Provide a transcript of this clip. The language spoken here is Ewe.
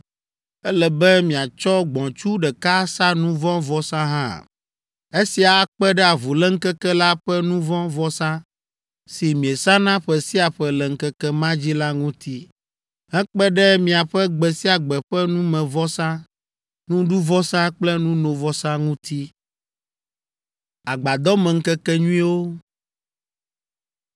Ele be miatsɔ gbɔ̃tsu ɖeka asa nu vɔ̃ vɔsa hã. Esia akpe ɖe avuléŋkeke la ƒe nu vɔ̃ vɔsa si miesana ƒe sia ƒe le ŋkeke ma dzi la ŋuti, hekpe ɖe miaƒe gbe sia gbe ƒe numevɔsa, nuɖuvɔsa kple nunovɔsa ŋuti.”